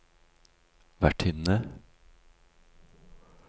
vertinne